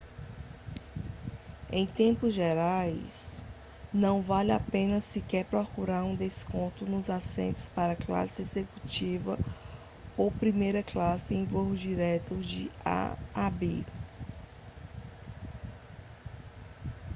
em termos gerais não vale a pena sequer procurar por descontos nos assentos para classe executiva ou primeira classe em voos diretos de a a b